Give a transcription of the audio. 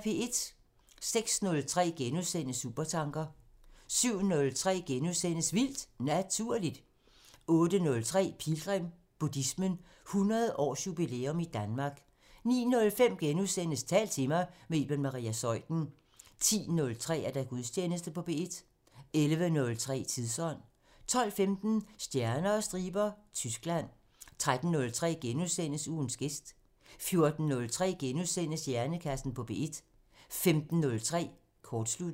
06:03: Supertanker * 07:03: Vildt Naturligt * 08:03: Pilgrim – Buddhismen – 100 års jubilæum i Danmark 09:05: Tal til mig – med Iben Maria Zeuthen * 10:03: Gudstjeneste på P1 11:03: Tidsånd 12:15: Stjerner og striber – Tyskland 13:03: Ugens gæst * 14:03: Hjernekassen på P1 * 15:03: Kortsluttet